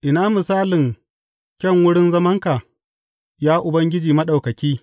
Ina misalin kyan wurin zamanka, Ya Ubangiji Maɗaukaki!